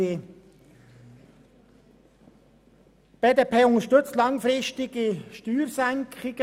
Die BDP unterstützt langfristige Steuersenkungen.